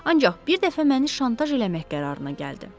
Ancaq bir dəfə məni şantaj eləmək qərarına gəldi.